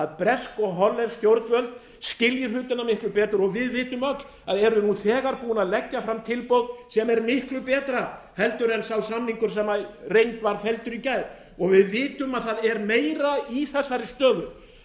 bresk og hollensk stjórnvöld skilji hlutina miklu betur og við vitum öll að eru nú þegar búin að leggja fram tilboð sem er miklu betra heldur en sá samningur sem í reynd var felldur í gær við vitum að það er meira í þessari stöðu